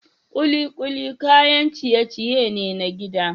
Kikuli kayan ciye-ciye ne na gida